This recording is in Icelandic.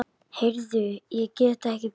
Heyrðu, ég get ekki beðið.